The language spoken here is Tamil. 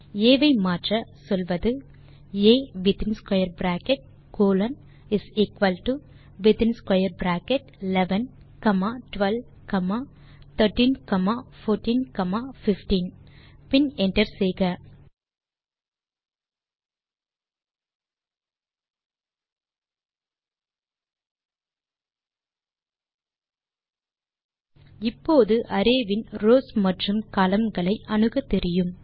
ஆ ஐ மாற்ற சொல்வது ஆ within square bracket colon within square bracket 11 comma 12 comma 13 comma 14 comma 15 பின் என்டர் செய்க இப்போது அரே வின் ரவ்ஸ் மற்றும் கோலம்ன் களை அணுகத் தெரியும்